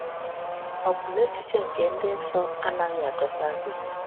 Ọ bụ na echiche nke ịdị nsọ anaghị adọta gị?